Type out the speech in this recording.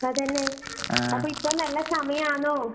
അതന്നെ, അപ്പോ ഇപ്പം നല്ല സമയാന്നോ?